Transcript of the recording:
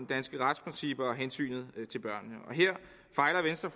danske retsprincipper og hensynet til børnene